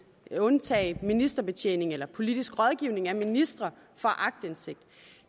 vil undtage ministerbetjening eller politisk rådgivning af ministre for aktindsigt